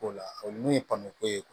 O la olu ye pɔnpu ko ye